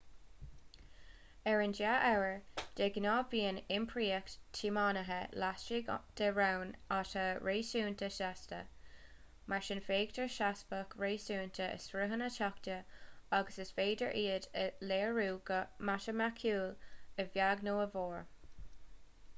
ar an dea-uair de ghnáth bíonn iompraíocht tiománaithe laistigh de raon atá réasúnta seasta mar sin feictear seasmhacht réasúnta i sruthanna tráchta agus is féidir iad a léiriú go matamaiticiúil a bheag nó a mhór